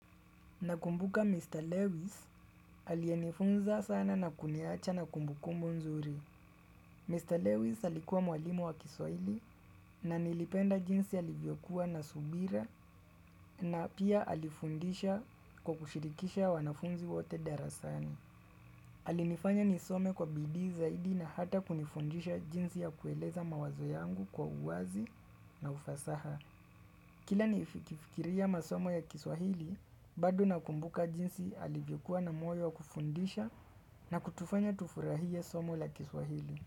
Nakumbuka Mr. Lewis aliyenifunza sana na kuniacha na kumbu kumbu nzuri. Mr. Lewis alikuwa mwalimu wa kiswahili na nilipenda jinsi alivyokuwa na subira na pia alifundisha kwa kushirikisha wanafunzi wote darasani. Alinifanya nisome kwa bidii zaidi na hata kunifundisha jinsi ya kueleza mawazo yangu kwa uwazi na ufasaha. Kila nikifikiria masomo ya kiswahili, bado na kumbuka jinsi alivyokuwa na moyo kufundisha na kutufanya tufurahie somo la kiswahili.